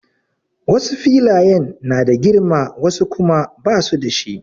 Wasu filayen na da girma wasu kuma basu da shi.